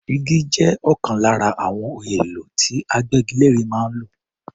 Igi jẹ́ ọ̀kan lára àwọn ohun èlò tí agbégilére máa ń lò.